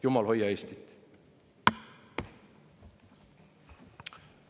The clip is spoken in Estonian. Jumal, hoia Eestit!